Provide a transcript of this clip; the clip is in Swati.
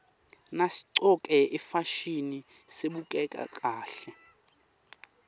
nasiqcoke ifasihni sibukeka kahle